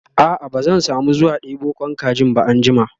a'a ba zan samu zuwa ɗebo Kwan kajin ba anjima